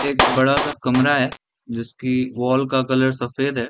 एक बड़ा-सा कमरा है जिसकी वाल का कलर सफ़ेद है।